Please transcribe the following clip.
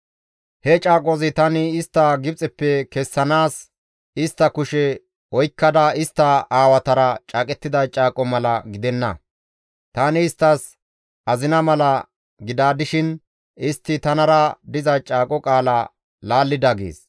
He caaqozi tani istta Gibxeppe kessanaas istta kushe oykkada istta aawatara caaqettida caaqoza mala gidenna; tani isttas azina mala gida dishin istti tanara diza caaqo qaalaza laallida» gees.